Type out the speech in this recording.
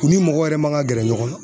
U ni mɔgɔ yɛrɛ man ka gɛrɛ ɲɔgɔn na